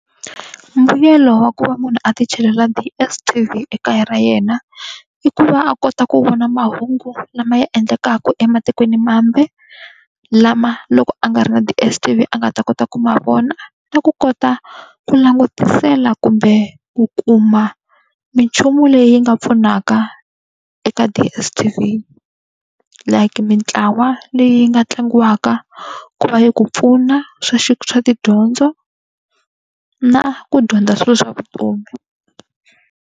Mbuyelo wa ku va munhu a ti chelela DSTV ekaya ra yena, i ku va a kota ku vona mahungu lama ya endlekaka ematikweni mambe., lama loko a nga ri na DSTV a nga ta kota ku ma vona. Na ku kota ku langutisela kumbe ku kuma minchumu leyi nga pfunaka eka DSTV like mintlawa leyi nga tlangiwaka ku va yi ku pfuna swa swa tidyondzo, na ku dyondza swilo swa vutomi.